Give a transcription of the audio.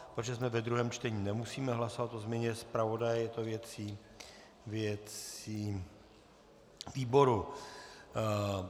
Protože jsme ve druhém čtení, nemusíme hlasovat o změně zpravodaje, je to věcí výboru.